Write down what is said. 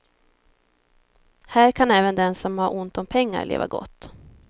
Här kan även den som har ont om pengar leva gott.